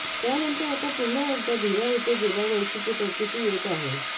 त्यानंतर आता पुन्हा एकदा भिरा इथं गेल्या वर्षीची प्रचिती येत आहे